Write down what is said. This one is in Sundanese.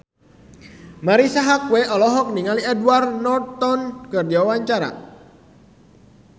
Marisa Haque olohok ningali Edward Norton keur diwawancara